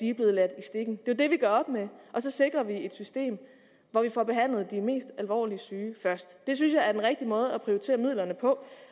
er blevet ladt i stikken det er jo det vi gør op med og så sikrer vi et system hvor vi får behandlet de mest alvorligt syge først det synes jeg er den rigtige måde at prioritere midlerne på